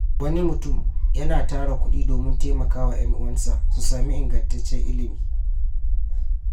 Wani mutum yana tara kudi domin taimaka wa ‘yan uwansa su sami ingantaccen ilimi.